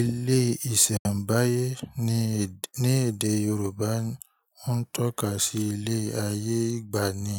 Ilé ìsẹ̀mbáyé ní èdè Yorùbá o ń tọ́ka sí ilé ayé ìgbàanì